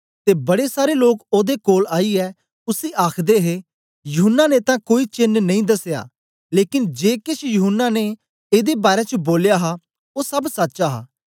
ते बड़े सारे लोक ओदे कोल आईयै उसी आखदे हे यूहन्ना ने तां कोई चेन्न नेई दसया लेकन जे केछ यूहन्ना ने एदे बारै च बोलया हा ओ सब सच हा